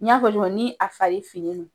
N y'a fɔ cogo min na ni a fari finnen do